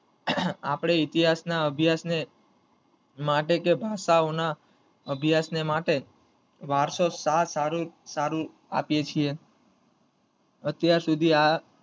આપડે ઇતિહાસ ના અભ્યાસ ને માટે કે ભાષા ઓ ના અભ્યાસ ને માટે વારસો સા~સારી સારી આપીયે છીએ અત્યાર સુધી આ